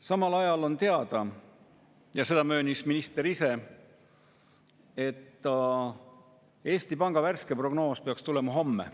Samal ajal on teada – ja seda möönis minister ise –, et Eesti Panga värske prognoos peaks tulema homme.